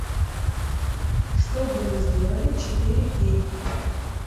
что бы вы сделали четыре кей